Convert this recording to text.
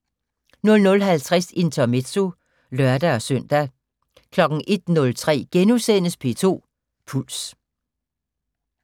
00:50: Intermezzo (lør-søn) 01:03: P2 Puls *